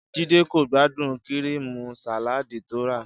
Jídé kò gbádùn kíríìmù sàláàdì tó rà